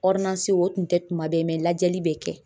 o tun tɛ tuma bɛɛ lajɛli bɛ kɛ;